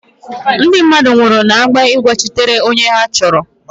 Ndị mmadụ nwụrụ na-anwa ịgbachitere onye ha họọrọ.